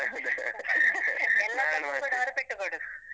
ಎಲ್ಲ ತಪ್ಪಿಗೂ ಕೂಡ ಅವ್ರು ಪೆಟ್ಟು ಕೊಡುದು.